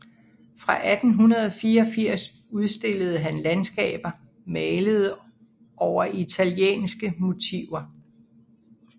Fra 1884 udstillede han landskaber malede over italienske motiver